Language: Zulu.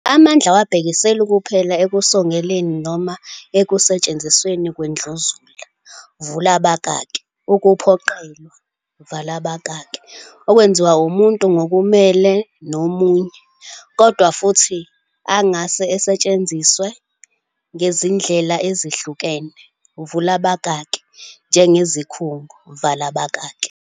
Amandla awabhekiseli kuphela ekusongeleni noma ekusetshenzisweni kwendluzula, ukuphoqelelwa, okwenziwa umuntu ngokumelene nomunye, kodwa futhi angase asetshenziswe ngezindlela ezihlukene, njengezikhungo.